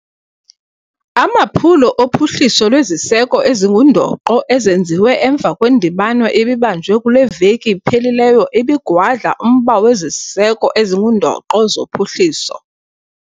Amaphulo ophuhliso lweziseko ezingundoqo ezenziwe emva kwendibano ebibanjwe kule veki iphelileyo ebigwadla umba weziseko ezingundoqo zophuhliso.